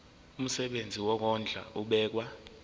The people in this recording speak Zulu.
umsebenzi wokondla ubekwa